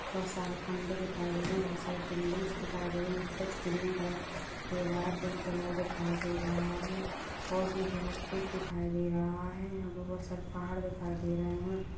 बहुत सारे खंभे दिखाई दे रहे हैं बहुत सारी बिल्डिंग्स दिखाई दे रही हैं कुछ ग्रीन कलर दे रहा है कुछ पिंक कलर दिखाई दे रहा है और भी बहुत कुछ दिखाई दे रहा है यहां पर बहुत सारे पहाड़ दिखाई दे रहे हैं।